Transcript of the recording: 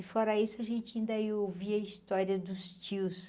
E fora isso a gente ainda ia ouvia a história dos tios.